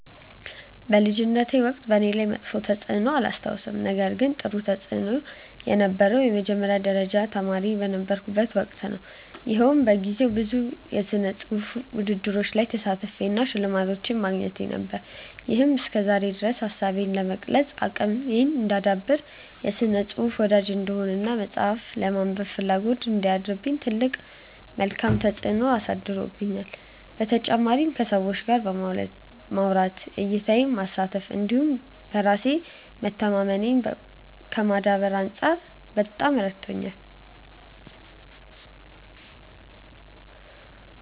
በልጅነቴ ወቅት በእኔ ላይ መጥፎ ተፅዕኖ አላስታውስም ነገር ግን ጥሩ ተፅእኖ የነበረው የመጀመሪያ ደረጃ ተማሪ የነበርኩበት ወቅት ነው። ይኸውም በጊዜው ብዙ ስነፅሁፋዊ ውድድሮች ላይ መሳተፌ እና ሽልማቶችን ማግኘቴ ነው። ይሄም እስከዛሬ ድረስ ሀሳቤን የመግለፅ አቅሜን እንዳዳብር፣ የስነ ፅሁፍ ወዳጅ እንድሆን እና መፅሀፍትን የማንበብ ፍላጎት እንዲያድርብኝ ትልቅ መልካም ተፅዕኖ አሳድሮብኛል። በተጨማሪም ከሰዎች ጋር ለማውራት፣ እይታዬን ከማስፋት እንዲሁም በራስ መተማመኔን ከማዳበር አንፃር በጣም ረድቶኛል።